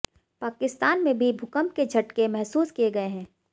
पाकिस्तान में भी भूकंप के झटके महसूस किये गये हैं